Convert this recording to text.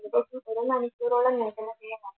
എത്ര മണിക്കൂറോളം